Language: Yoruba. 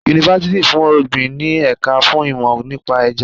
Yunifásítì fún ọ̀gbìn ní ẹ̀ka fún ìmò nípa Ẹja.